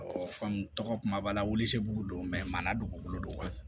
tɔgɔ kuma b'a la wuli don dugukolo don wa